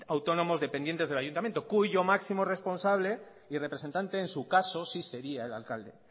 autónomos dependientes del ayuntamiento cuyo máximo responsable y representante en su caso sí sería el alcalde